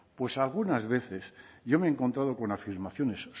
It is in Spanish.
pues algunas veces yo me he encontrado con afirmaciones